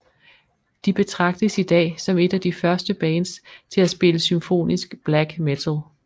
De betragtes i dag som et af de første bands til at spille symfonisk black metal